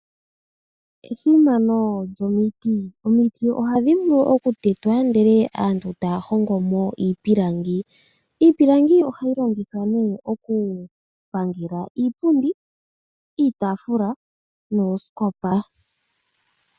Esimano lyomiti. Omiti ohadhi vulu okutetwa, ndele aantu taya hongomo iipilangi. Iipilangi ohayi longithwa ne okupangela iipundi, iitaafula noosikopa.